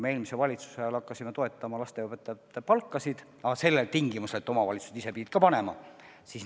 Eelmise valitsuse ajal me hakkasime toetama lasteaiaõpetajate palkasid, aga sellel tingimusel, et omavalitsused ise ka selleks panuse annavad.